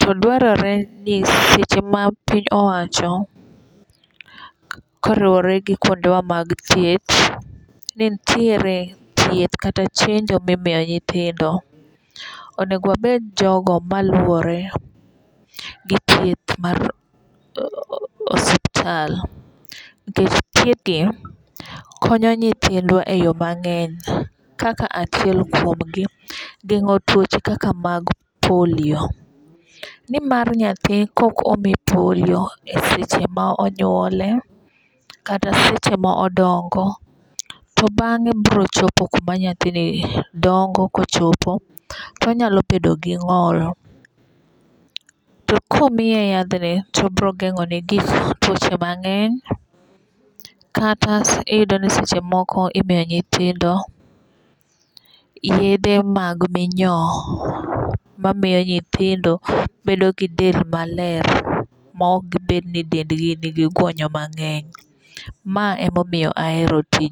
To dwarore ni seche ma piny owacho koriwore gi kuonde wa mag thieth ni nitiere thieth kata chenjo mimiyo nyithindo, onego wabed jogo maluwore gi thieth mar osiptal. Nikech thieth gi konyo nyithindwa e yo mang'eny. Kaka achiel kuom gi geng'o tuoche kaka mag polio. Nimar nyathi kok omi polio e seche monyuolie kata seche modongo to bang'e biro chopo kuma nyathini dongo kochopo tonyalo bedo gi ng'ol. To komiye yathni to biro geng'o ne tuoche mang'eny. Kata iyudo ni seche moko imiyo nyithindo yedhe mag minyoo ma miyo nyithindo bedo gi del maler maok gibed ni dend gi nigi guonnyo mang'eny. Ma e momiyo ahero tijni